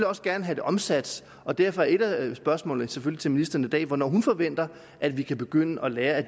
også gerne have det omsat og derfor er et af spørgsmålene til til ministeren i dag selvfølgelig hvornår hun forventer at vi kan begynde at lære af